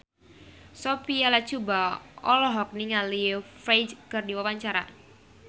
Sophia Latjuba olohok ningali Ferdge keur diwawancara